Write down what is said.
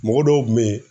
Mɔgɔ dɔw kun be yen